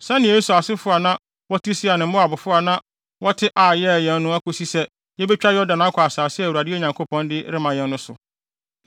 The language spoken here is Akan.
sɛnea Esau asefo a na wɔte Seir ne Moabfo a na wɔte Ar yɛɛ yɛn no akosi sɛ yebetwa Yordan akɔ asase a Awurade, yɛn Nyankopɔn, de rema yɛn no so.”